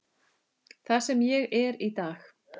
Það sem ég er í dag.